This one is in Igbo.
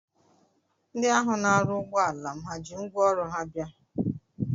Ndị ahụ na-arụ ụgbọala m ha ji ngwaọrụ ha bịa?